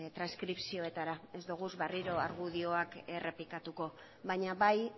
transkripzioetara ez duguz berriro argudioak errepikatuko baina bai